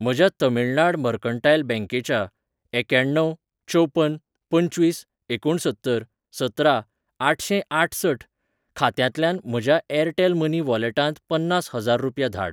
म्हज्या तमिळनाड मर्कंटायल बँकेच्या एक्यण्णव चवपन पंचवीस एकुणसत्तर सतरा आठशेंआठसठ खात्यांतल्यांन म्हज्या ऍरटेल मनी वॉलेटांत पन्नास हजार रुपया धाड